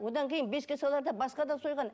одан кейін бесікке саларда басқа да сойған